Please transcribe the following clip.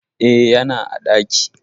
E, yana a ɗaki.